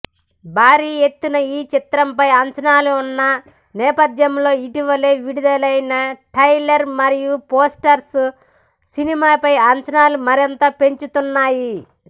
భారీ ఎత్తున ఈ చిత్రంపై అంచనాలున్న నేపథ్యంలో ఇటీవలే విడుదలైన ట్రైలర్ మరియు పోస్టర్స్ సినిమాపై అంచనాలు మరింతగా పెంచుతున్నాయి